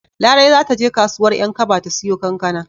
Larai za ta je kasuwar 'Yankaba ta siyo kankana.